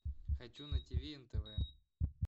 хочу на тв нтв